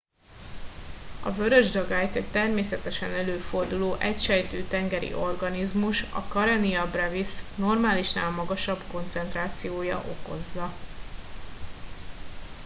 a vörös dagályt egy természetesen előforduló egysejtű tengeri organizmus a karenia brevis normálisnál magasabb koncentrációja okozza